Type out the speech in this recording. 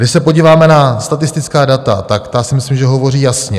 Když se podíváme na statistická data, tak ta si myslím, že hovoří jasně.